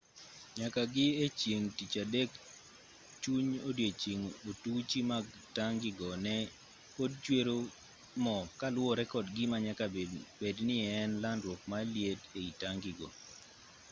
nyaka gi e chieng' tich adek chuny odiechieng' otuchi mag tangi go ne pod chwero mo kaluwore kod gima nyaka bed ni ne en landruok mar liet ei tangi go